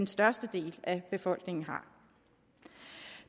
størstedelen af befolkningen har